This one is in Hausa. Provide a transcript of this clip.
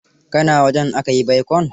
Ka na wajen aka yi baikon?